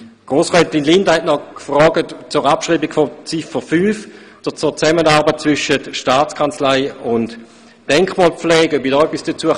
Frau Grossrätin Linder hat noch gefragt, ob ich zur Abschreibung von Ziffer 5, zur Zusammenarbeit zwischen Staatskanzlei und Denkmalpflege, etwas sagen könnte.